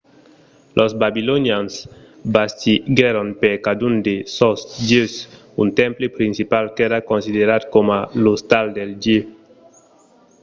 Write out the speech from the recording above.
los babilonians bastiguèron per cadun de sos dieus un temple principal qu'èra considerat coma l'ostal del dieu